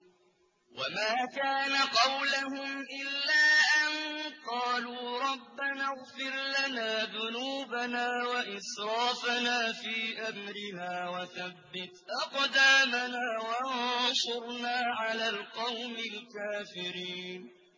وَمَا كَانَ قَوْلَهُمْ إِلَّا أَن قَالُوا رَبَّنَا اغْفِرْ لَنَا ذُنُوبَنَا وَإِسْرَافَنَا فِي أَمْرِنَا وَثَبِّتْ أَقْدَامَنَا وَانصُرْنَا عَلَى الْقَوْمِ الْكَافِرِينَ